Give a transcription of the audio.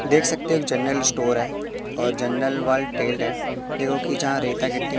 देख सकते हो के जनरल स्टोअर है और जनरल वर्ल्ड है देखो कि जहां रेता गिट्टी--